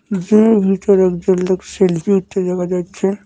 জিমের ভেতর একজন লোক সেলফি উঠতে দেখা যাচ্ছে।